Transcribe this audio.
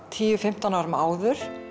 tíu til fimmtán árum áður